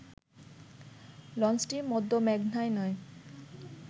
লঞ্চটি মধ্য মেঘনায় নয়